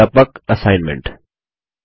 व्यापक असाइनमेंटनियत कार्य